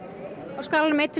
á skalanum einn til